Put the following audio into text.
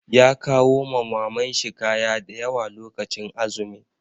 Ya kawo ma Maman shi kaya da yawa lokacin azumi.